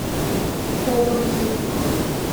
копы в юбках